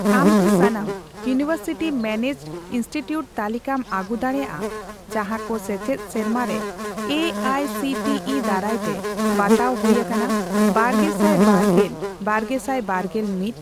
ᱟᱢ ᱠᱤ ᱥᱟᱱᱟᱢ ᱤᱭᱩᱱᱤᱣᱮᱨᱥᱤᱴᱤ ᱢᱮᱱᱮᱡᱰ ᱤᱱᱥᱴᱤᱴᱤᱭᱩᱴ ᱛᱟᱞᱤᱠᱟᱢ ᱟᱹᱜᱩ ᱫᱟᱲᱮᱭᱟᱜᱼᱟ ᱡᱟᱦᱟᱸᱠᱚ ᱥᱮᱪᱮᱫ ᱥᱮᱨᱢᱟᱨᱮ A I C T E ᱫᱟᱨᱟᱭᱛᱮ ᱵᱟᱛᱟᱣ ᱦᱩᱭ ᱟᱠᱟᱱᱟ ᱵᱟᱨᱜᱮᱥᱟᱭ ᱵᱟᱨᱜᱮᱞᱼᱵᱟᱨᱜᱮᱥᱟᱭ ᱵᱟᱨᱜᱮᱞ ᱢᱤᱛ ?